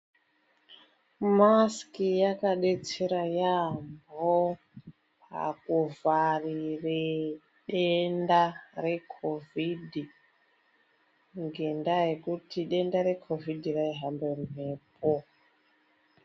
Masiki yakadetsera yaamho pakuvharire denda rekhovhidhi, ngendaa yekuti denda rekhovhidhi raihamba nemhepo.